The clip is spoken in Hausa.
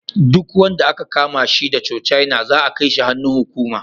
Duk wanda aka kama shi da cocaine za'a kai shi hannun hukuma.